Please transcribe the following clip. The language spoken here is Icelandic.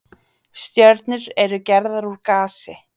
Stjörnur eru gerðar úr gasi.